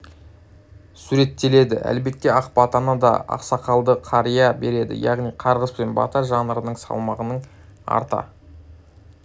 суреттеледі әлбетте ақ батаны да ақсақалды қария береді яғни қарғыс пен бата жанрының салмағының арта